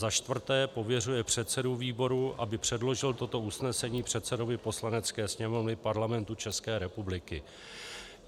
Za čtvrté pověřuje předsedu výboru, aby předložil toto usnesení předsedovi Poslanecké sněmovny Parlamentu České republiky.